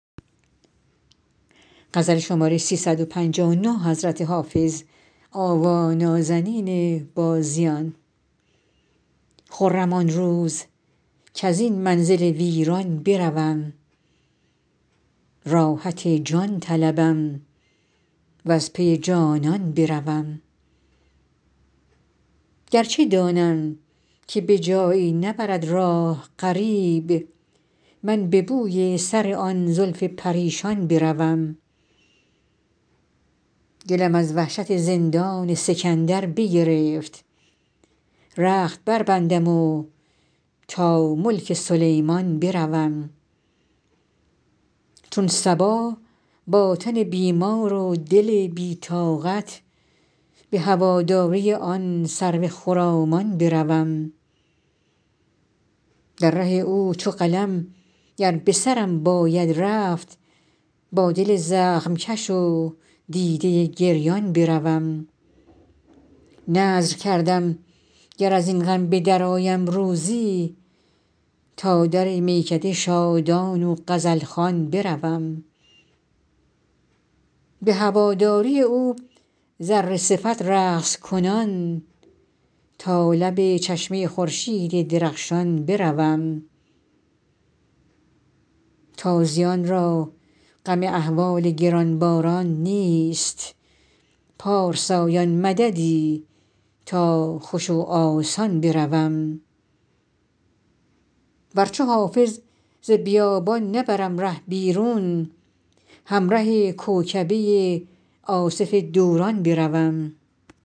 خرم آن روز کز این منزل ویران بروم راحت جان طلبم و از پی جانان بروم گر چه دانم که به جایی نبرد راه غریب من به بوی سر آن زلف پریشان بروم دلم از وحشت زندان سکندر بگرفت رخت بربندم و تا ملک سلیمان بروم چون صبا با تن بیمار و دل بی طاقت به هواداری آن سرو خرامان بروم در ره او چو قلم گر به سرم باید رفت با دل زخم کش و دیده گریان بروم نذر کردم گر از این غم به درآیم روزی تا در میکده شادان و غزل خوان بروم به هواداری او ذره صفت رقص کنان تا لب چشمه خورشید درخشان بروم تازیان را غم احوال گران باران نیست پارسایان مددی تا خوش و آسان بروم ور چو حافظ ز بیابان نبرم ره بیرون همره کوکبه آصف دوران بروم